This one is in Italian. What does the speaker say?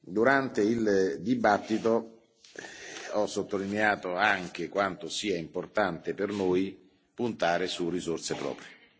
Durante il dibattito, ho sottolineato anche quanto sia importante per noi puntare su risorse proprie.